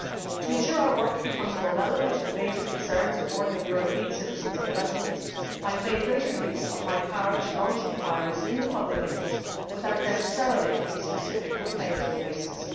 To ensure our work becomes more relevant to the major concerns of ordinary European citizens and residents, I have made greater use of my power to launch inquiries in the public interest without necessarily a specific complaint as basis.